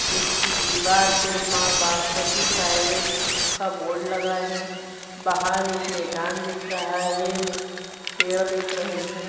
उसकी दीवार में मां बासमती प्राइवेट का बोर्ड लगा है बाहर एक मैदान दिख रहा है पेड़ दिख रहे है ।